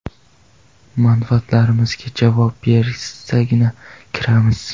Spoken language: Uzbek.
Manfaatlarimizga javob bersagina kiramiz.